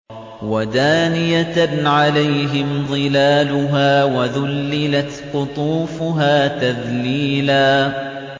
وَدَانِيَةً عَلَيْهِمْ ظِلَالُهَا وَذُلِّلَتْ قُطُوفُهَا تَذْلِيلًا